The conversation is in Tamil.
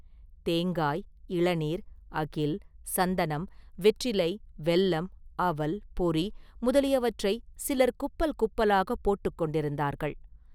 தேங்காய், இளநீர், அகில், சந்தனம், வெற்றிலை, வெல்லம், அவல், பொரி முதலியவற்றை சிலர் குப்பல் குப்பலாகப் போட்டுக் கொண்டிருந்தார்கள்.